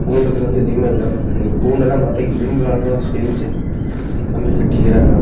கூண்டுக்குள்ள வந்து எதுவுமே இல்ல இந்த கூண்டு எல்லாம் பார்த்தா இரும்புல செஞ்சி கம்பி கட்டிக்றாங்க.